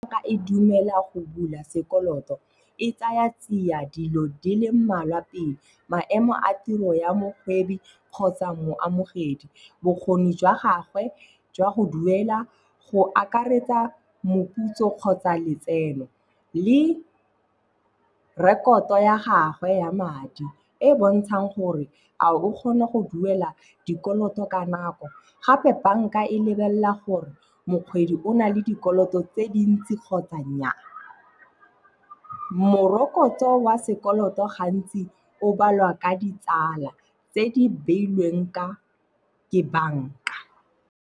E dumela go bula sekoloto, e tsaya tsia dilo di le mmalwa pele. Maemo a tiro ya mokgwebi kgotsa moamogedi, bokgoni jwa gagwe jwa go duela, go akaretsa moputso kgotsa letseno le rekoto ya gagwe ya madi e e bontshang gore a o kgona go duela dikoloto ka nako. Gape banka e lebelela gore mokgwebi o na le dikoloto tse dintsi kgotsa nnyaa. Morokotso wa sekoloto gantsi o balwa ka ditsala tse di beilweng ke banka.